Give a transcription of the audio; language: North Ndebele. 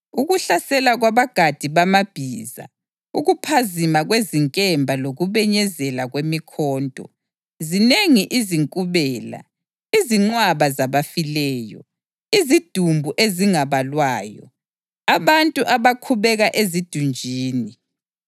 Ukuhlasela kwabagadi bamabhiza ukuphazima kwezinkemba lokubenyezela kwemikhonto. Zinengi izinkubela, izinqwaba zabafileyo, izidumbu ezingabalwayo, abantu abakhubeka ezidunjini,